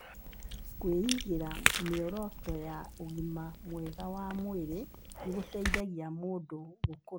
Kwĩigĩra mĩoroto ya ũgima mwega wa mwĩrĩ nĩ gũteithagia mũndũ gũkũra.